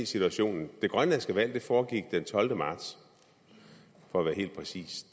situationen det grønlandske valg foregik den tolvte marts for at være helt præcis